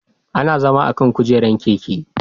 Ana zama akan kujerar keke